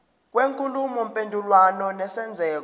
kwenkulumo mpendulwano nesenzeko